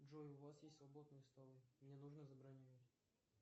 джой у вас есть свободные столы мне нужно забронировать